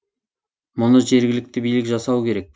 мұны жергілікті билік жасауы керек